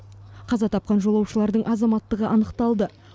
қаза тапқан жолаушылардың азаматтығы анықталды